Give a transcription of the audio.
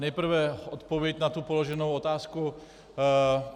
Nejprve odpověď na tu položenou otázku.